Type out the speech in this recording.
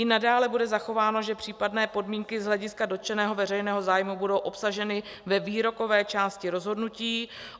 I nadále bude zachováno, že případné podmínky z hlediska dotčeného veřejného zájmu budou obsaženy ve výrokové části rozhodnutí.